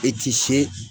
I ti se